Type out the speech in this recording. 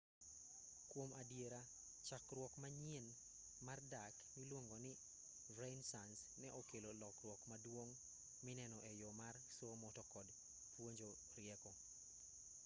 kuom adiera chakruok manyien mar dak miluongoni renaissance ne okelo lokruok maduong' mineno e yo mar somo to kod puonjo rieko